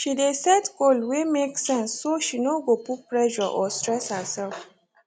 she dey set goal wey make sense so she no go put pressure or stress herself